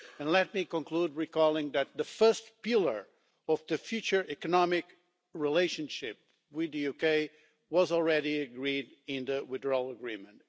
Let me conclude by recalling that the first pillar of the future economic relationship with the UK was already agreed in the Withdrawal Agreement.